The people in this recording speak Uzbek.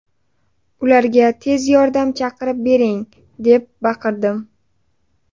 Ularga tez yordam chaqirib bering, deb baqirdim.